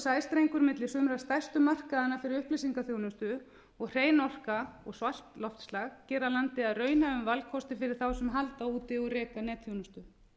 öflugir sæstrengir milli sumra stærstu markaðanna fyrir upplýsingaþjónustu og hrein orka og svalt loftslag gera landið að raunhæfum valkosti fyrir þá sem halda úti og reka netþjónustu